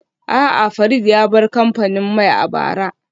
A'a, Farid ya bar kamfanin mai a bara